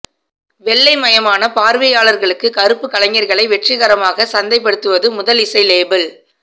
வெள்ளைமயமான பார்வையாளர்களுக்கு கருப்பு கலைஞர்களை வெற்றிகரமாக சந்தைப்படுத்த முதல் இசை லேபிள்